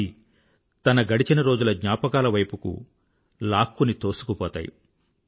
అవి తన గడచిన రోజుల జ్ఞాపకాల వైపుకి లాక్కుని తోసుకుపోతాయి